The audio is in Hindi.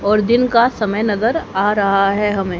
और दिन का समय नगर आ रहा है हमें--